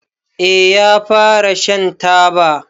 Eh ya fara Shan taba.